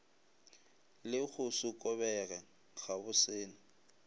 le go se kobege gabosele